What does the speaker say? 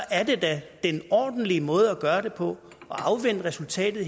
er da den ordentlige måde at gøre det på at afvente resultatet